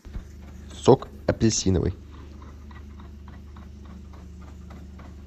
сок апельсиновый